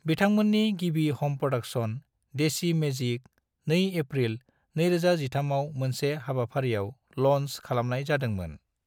बिथांमोननि गिबि ह'म प्रोडाक्शन, देसी मैजिक, 2 एप्रिल 2013 आव मोनसे हाबाफारिआव ल'न्च खालामनाय जादोंमोन।